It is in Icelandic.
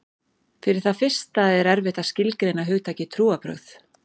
Fyrir það fyrsta er erfitt að skilgreina hugtakið trúarbrögð.